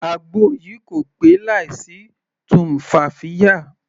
Àgbo yìí kò pé láì sí tumfafiya.